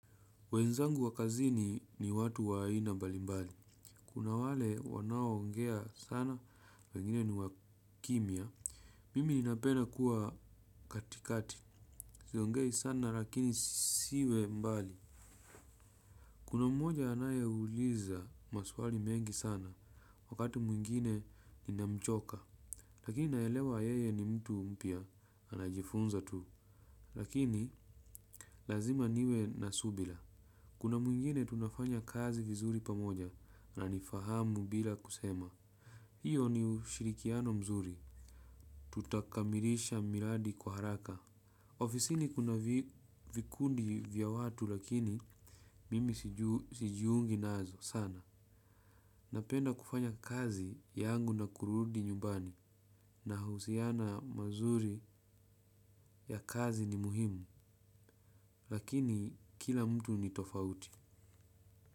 Wenzangu wa kazini ni watu aina mbali mbali. Kuna wale wanaoongea sana wengine ni wakimya. Mimi napena kuwa katikati. Siongei sana lakini siwe mbali. Kuna mmoja anayeuliza maswali mengi sana. Wakati mwingine ninamchoka. Lakini naelewa yeye ni mtu mpya. Anajifunza tu. Lakini lazima niwe nasubira. Kuna mwingine tunafanya kazi vizuri pamoja. Anqnifahamu bila kusema. Hiyo ni ushirikiano mzuri. Tutakamilisha miradi kwa haraka. Ofisini kuna vikundi vya watu lakini mimi sijiungi nazo sana. Napenda kufanya kazi yangu na kurudi nyumbani. Nahusiana mazuri ya kazi ni muhimu. Lakini kila mtu ni tofauti.